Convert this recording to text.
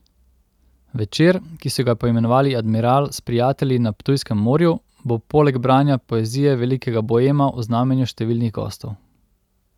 Večer, ki so ga poimenovali Admiral s prijatelji na Ptujskem morju, bo poleg branja poezije velikega boema v znamenju številnih gostov.